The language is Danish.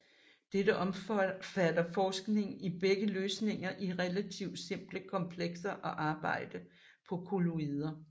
Dette omfatter forskning i begge løsninger af relativt simple komplekser og arbejde på kolloider